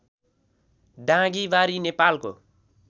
डाँगीबारी नेपालको